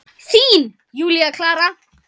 Þín, Júlía Klara.